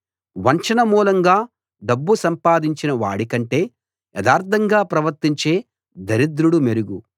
వంచన మూలంగా డబ్బు సంపాదించినవాడి కంటే యథార్థంగా ప్రవర్తించే దరిద్రుడు మెరుగు